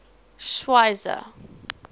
schweizer